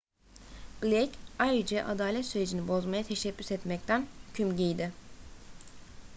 blake ayrıca adalet sürecini bozmaya teşebbüs etmekten hüküm giydi